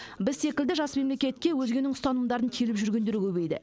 біз секілді жас мемлекетке өзгенің ұстанымдарын теліп жүргендер көбейді